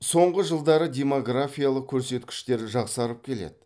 соңғы жылдары демографиялық көрсеткіштер жақсарып келеді